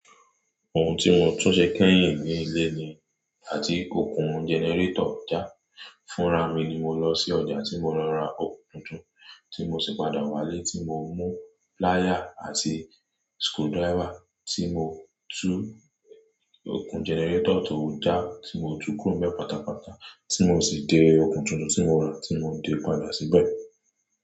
Ohun tí mo tún ṣe kẹ́yìn ní ilé ni àti kó kun jẹnẹrétọ̀ já fúnra mi ni mo lọ sí ọjà tí mo lọ ra okùn tuntun, tí mo sì padà wálé tí mo mú plier àti skewdriver tí mo tú okùn jẹnẹrétọ̀ tó já tí mo tú gúrọ́ọ̀mẹ́ pátápátá tí mo sì de okùn tuntun tí mo ra tí mo de padà síbẹ̀